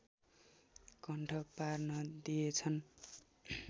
कण्ठ पार्न दिएछन्